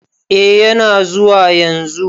Eh yana zuwa yanzu.